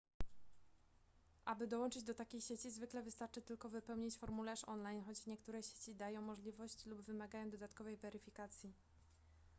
aby dołączyć do takiej sieci zwykle wystarczy tylko wypełnić formularz online choć niektóre sieci dają możliwość lub wymagają dodatkowej weryfikacji